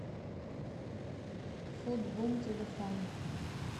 фуд бум телефон